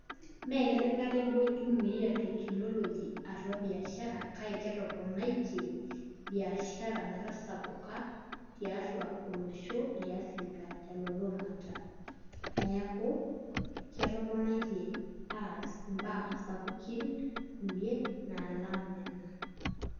Mee ketipika akeduo Jumia teknology atua biashara kake ketoponaitie biashara metasapuka tiatua olosho le Africa telulung'ata, neeku ketoponaitie aas imbaa sapukin kulie naalng' nena.